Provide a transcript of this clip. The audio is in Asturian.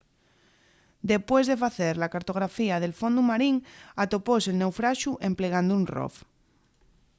depués de facer la cartografía del fondu marín atopóse’l naufraxu emplegando un rov